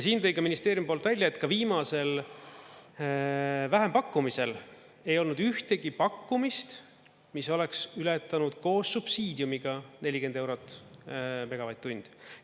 Siin tõi ka ministeeriumi poolt välja, et ka viimasel vähempakkumisel ei olnud ühtegi pakkumist, mis oleks ületanud koos subsiidiumiga 40 eurot megavatt-tund.